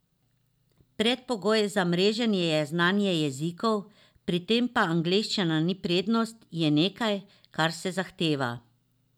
Predpogoj za mreženje je znanje jezikov, pri tem pa angleščina ni prednost, je nekaj, kar se zahteva.